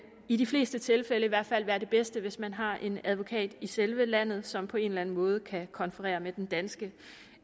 i de fleste tilfælde i hvert fald være det bedste hvis man har en advokat i selve landet som på en eller anden måde kan konferere med den danske